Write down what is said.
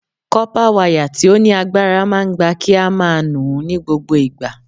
Kọ́pá wayà tí ó ní agbára máa ń gba kí a máa nù-ún ní gbogbo ìgbà.